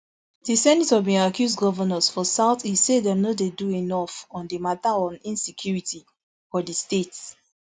di senator bin accuse govnors for south east say dem no dey do enough on di mata on insecurity for di state